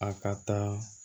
A ka ca